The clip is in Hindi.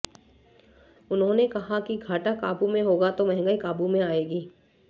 उन्होंने कहा कि घाटा काबू में होगा तो महंगाई काबू में आएगी